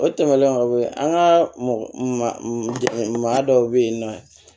O tɛmɛnen kɔ an ka mɔgɔ dɔw bɛ yen nɔ